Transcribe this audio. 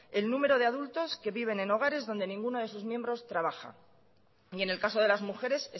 el número de adultos que viven en hogares donde ninguno de sus miembros trabaja y en el caso de las mujeres